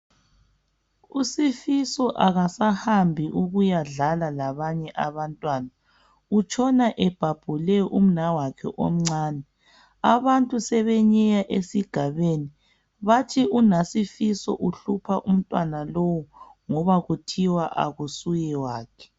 USifiso akasahambi ukuyadlala labanye abantwana utshona ebhabhule umnawakhe omncane abantu sebenyeya esigabeni bathi unaSifiso uhlupha umntwana lowu ngoba kuthiwa akusuyewakhe.